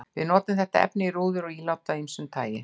Við notum þetta efni í rúður og ílát af ýmsu tagi.